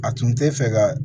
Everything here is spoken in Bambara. A tun tɛ fɛ ka